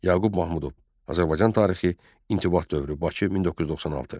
Yaqub Mahmudov, Azərbaycan tarixi İntibat dövrü, Bakı 1996.